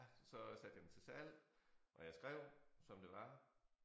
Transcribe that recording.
Så satte jeg den til salg og jeg skrev som det var